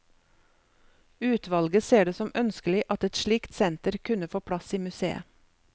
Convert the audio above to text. Utvalget ser det som ønskelig at et slikt senter kunne få plass i museet.